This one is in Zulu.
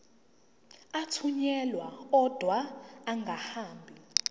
athunyelwa odwa angahambi